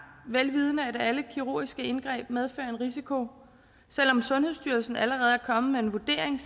vel vidende at alle kirurgiske indgreb medfører en risiko selv om sundhedsstyrelsen allerede er kommet med en vurdering